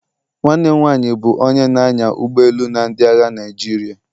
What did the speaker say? Nwanne m nwanyị bụ onye na-anya ụgbọ elu na ndị agha Naịjirịa.